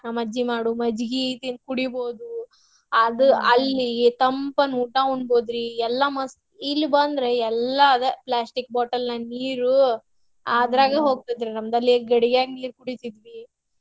ನಮ್ಮಜ್ಜಿ ಮಾಡೊ ಮಜ್ಜಿಗಿ ತಿನ್~ ಕುಡಿಬಹುದು ಆದ್ ಅಲ್ಲಿ ತಂಪನ್ನ ಊಟಾ ಉಣ್ಬಹುದ್ರಿ ಎಲ್ಲಾ ಮಸ್ತ್. ಇಲ್ಲಿ ಬಂದ್ರೆ ಎಲ್ಲಾ ಅದ plastic bottle ನ್ಯಾಗ್ ನೀರು ಹೋಗ್ತೇತ್ರಿ ನಮ್ದ್ ಅಲ್ಲೆ ಗಡಿಗ್ಯಾಗ್ ನೀರ್ ಕುಡಿತಿದ್ವಿ.